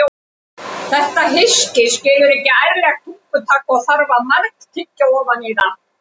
Þetta hyski skilur ekki ærlegt tungutak og þarf að margtyggja ofan í það.